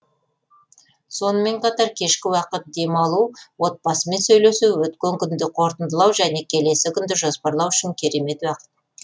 сонымен қатар кешкі уақыт демалу отбасымен сөйлесу өткен күнді қорытындылау және келесі күнді жоспарлау үшін керемет уақыт